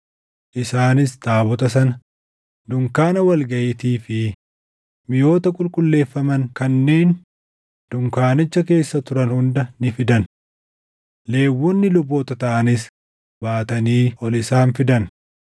isaanis taabota sana, dunkaana wal gaʼiitii fi miʼoota qulqulleeffaman kanneen dunkaanicha keessa turan hunda ni fidan. Lewwonni luboota taʼanis baatanii ol isaan fidan;